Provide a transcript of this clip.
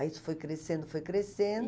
Aí isso foi crescendo, foi crescendo.